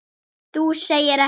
Þú segir ekki.